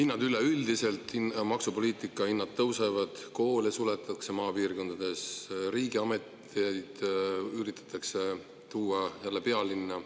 Maksupoliitika tõttu hinnad üleüldiselt tõusevad, maapiirkondades suletakse koole, riigiameteid üritatakse tuua jälle pealinna.